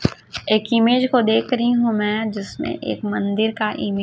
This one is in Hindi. एक इमेज को देख रही हूं मैं जिसमें एक मंदिर का इमे--